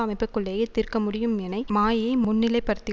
அமைப்புக்குள்ளேயே தீர்க்க முடியும் எனை மாயையை முன்நிலைப்படுத்தி